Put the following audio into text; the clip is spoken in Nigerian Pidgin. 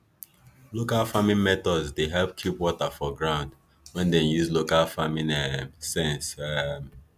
local farming methods dey help keep water for ground when dem use local farming um sense um